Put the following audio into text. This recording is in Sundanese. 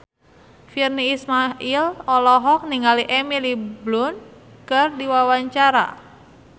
Virnie Ismail olohok ningali Emily Blunt keur diwawancara